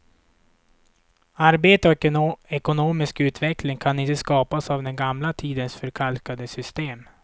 Arbete och ekonomisk utveckling kan inte skapas av den gamla tidens förkalkade system.